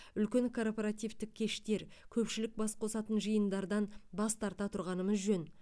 үлкен корпоративтік кештер көпшілік бас қосатын жиындардан бас тарта тұрғанымыз жөн